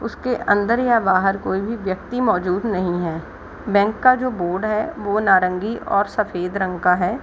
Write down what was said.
उसके अंदर या बाहर कोई भी व्यक्ति मौजूद नहीं है | बैंक का जो बोर्ड है वो नारंगी और सफेद रंग का है ।